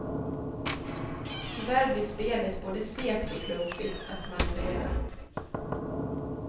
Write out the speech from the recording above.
Tyvärr blir spelet både segt och klumpigt att manövrera.